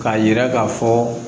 K'a yira k'a fɔ